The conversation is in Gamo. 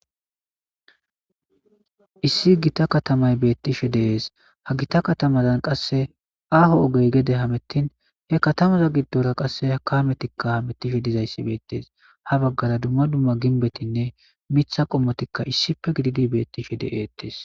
Issi gita katamay beettishe deees ha gita katamazan qasse aaho ogey gede hamettin he katamaza giddora qasse hakametikka hamettishe dizayssi beettees ha baggara dumma dumma ginbetinne mitha qommotikka issife gididi beettishe de'eettees.